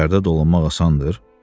Şəhərdə dolanmaq asandır?